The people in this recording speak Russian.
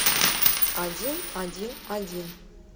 один один один